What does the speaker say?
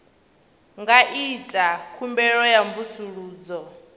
nga ita khumbelo ya mvusuludzo